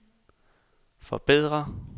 forbedre